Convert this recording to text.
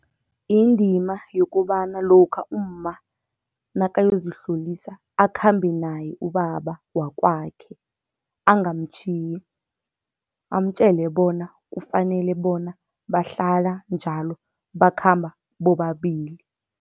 Indima yokobana lokha umma nakayozihlolisa akhambe naye ubaba wakwakhe, angamtjhiya, amtjele bona kufanele bona bahlala njalo bakhamba bobabili.